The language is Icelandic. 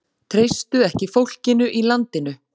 Treystu ekki fólkinu í landinu